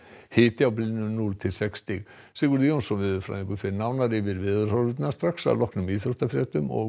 hiti á bilinu núll til sex stig Sigurður Jónsson veðurfræðingur fer nánar yfir veðurhorfurnar strax að loknum íþróttafréttum og